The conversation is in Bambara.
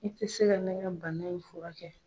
I tɛ se ka ne ka bana in fura kɛ.